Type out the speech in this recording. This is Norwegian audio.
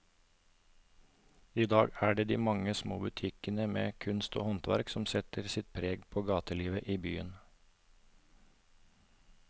I dag er det de mange små butikkene med kunst og håndverk som setter sitt preg på gatelivet i byen.